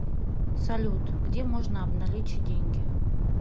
салют где можно обналичить деньги